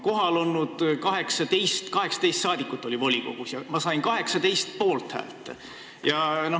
18 liiget oli volikogus ja ma sain 18 poolthäält.